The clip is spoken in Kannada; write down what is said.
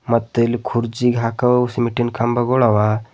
ಮತ್ತ್ ಇಲ್ಲಿ ಕೂರ್ಜಿಗ್ ಹಾಕೋವ ಸಿಮೀಂಟಿನ್ ಕಂಬಗಳ ಅವ.